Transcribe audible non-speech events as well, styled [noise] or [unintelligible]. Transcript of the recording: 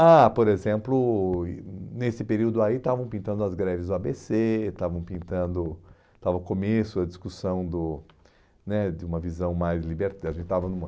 Ah, por exemplo, e nesse período aí, estavam pintando as greves do á bê cê, estavam pintando, estava o começo da discussão do né de uma visão mais [unintelligible] estavam num